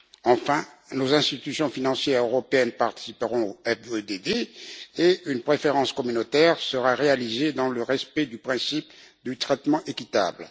Enfin, nos institutions financières européennes participeront au FEDD, et une préférence communautaire sera réalisée dans le respect du principe du traitement équitable.